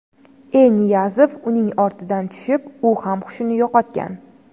E. Niyazov uning ortidan tushib, u ham hushini yo‘qotgan.